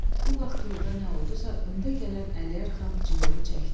Bu vaxt yolda nə oldusa, öndə gələn Əliyar Xan cilovu çəkdi.